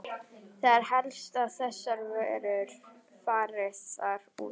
Það er helst að þessar verur fari þar út.